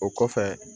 O kɔfɛ